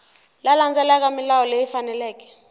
ku landzelela milawu leyi faneleke